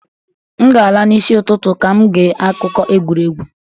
M ga-ala n'isi ụtụtụ ka m gee akụkọ egwuregwu